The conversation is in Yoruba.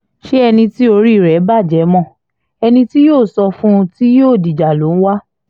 ṣé ẹni tí orí rẹ̀ bàjẹ́ mọ́ ẹni tí yóò sọ fún un tí yóò dìjà ló ń wá